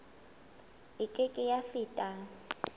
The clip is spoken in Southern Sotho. e ke ke ya feta